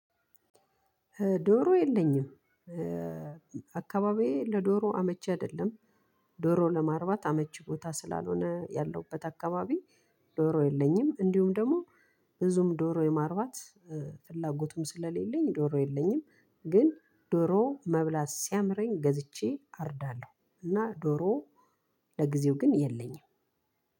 ዶሮ የለኝም አካባቢዬ ለዶሮ አመቺ አደለም። ዶሮ ለማርባት አመቺ ቦታ ስላልሆነ ያለሁበት አካባቢ ዶሮ የለኝም እንዲሁም ደሞ ብዙም ዶሮ የማርባት ፍላጎቱም ስለሌለኝ ዶሮ የለኝም። ግን ዶሮ መብላት ሲያምረኝ ገዝቼ አርዳለሁ። እና ዶሮ ለጊዜው ግን የለኝም።